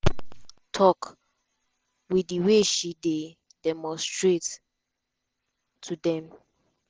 tok wit di way she dey demonstrate to dem.